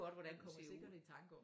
Kommer sikkert i tanke om det